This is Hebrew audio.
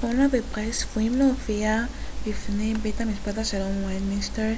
הונה ופרייס צפויים להופיע בפני בית משפט השלום בווסטמינסטר